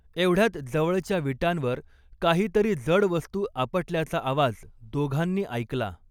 एवढ्यात जवळच्या विटांवर काहीतरी जडवस्तू आपटल्याचा आवाज दोघांनी ऐकला.